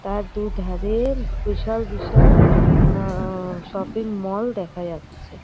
আর দুধারে বিশাল বিশাল আহ শপিং মল দেখা যাচ্ছে।